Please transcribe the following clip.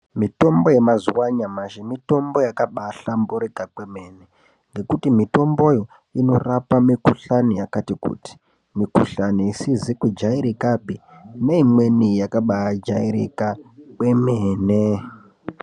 Mitombo yemazuva anyamashi mitombo yakabahlamburika kwemene nekuti mitomboyo inorapa mikuhlani yakati kuti, mikuhlani isizi kujairikapi neimweni yakabajairika kwemene.